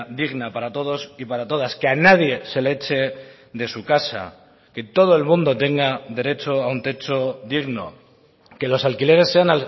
digna para todos y para todas que a nadie se le eche de su casa que todo el mundo tenga derecho a un techo digno que los alquileres sean